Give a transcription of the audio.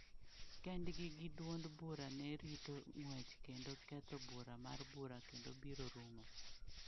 Kendgi gi duond bura ne rito ng’wech kendo ketho bura mar bura kendo biro rumo.